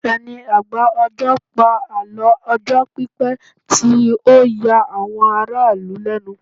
ẹni agba ọjọ pa àlọ ọjọ pipẹ ti o ya àwon ará ìlú lẹnu